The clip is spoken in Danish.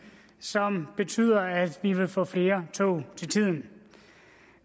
som betyder at vi vil få flere tog til tiden